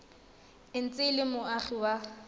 ntse e le moagi wa